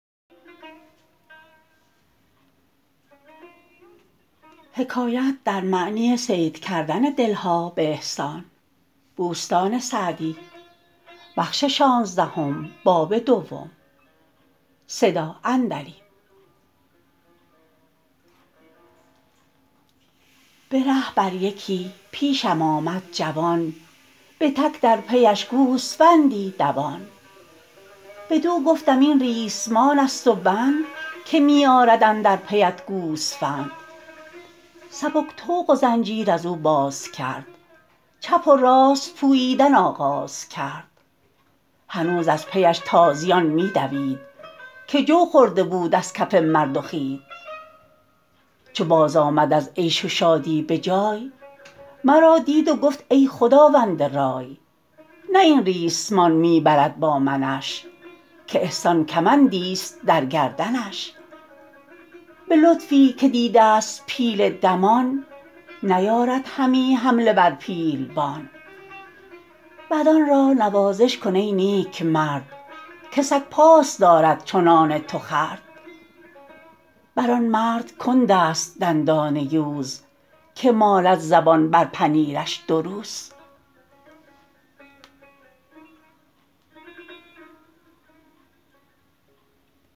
به ره بر یکی پیشم آمد جوان به تک در پیش گوسفندی دوان بدو گفتم این ریسمان است و بند که می آرد اندر پیت گوسفند سبک طوق و زنجیر از او باز کرد چپ و راست پوییدن آغاز کرد هنوز از پیش تازیان می دوید که جو خورده بود از کف مرد و خوید چو باز آمد از عیش و شادی به جای مرا دید و گفت ای خداوند رای نه این ریسمان می برد با منش که احسان کمندی است در گردنش به لطفی که دیده ست پیل دمان نیارد همی حمله بر پیلبان بدان را نوازش کن ای نیکمرد که سگ پاس دارد چو نان تو خورد بر آن مرد کند است دندان یوز که مالد زبان بر پنیرش دو روز